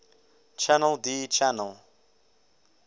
channel d channel